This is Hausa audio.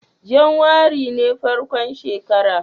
Januwari ne farkon shekara